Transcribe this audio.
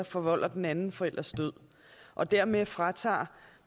forvolder den anden forælders død og dermed fratager